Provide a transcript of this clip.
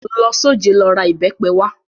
Lọ s'ojẹ́, lọ ra ìbẹ́pe wá!